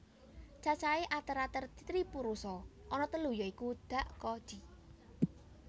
Cacahé ater ater tripurusa ana telu ya iku dak ko di